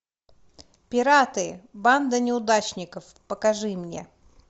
пираты банда неудачников покажи мне